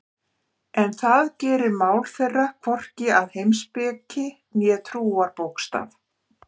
En það gerir mál þeirra hvorki að heimspeki né trúarbókstaf.